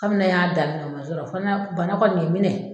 Kabini ne y'a daminɛ o man sɔrɔ fo na bana kɔni ye n minɛ.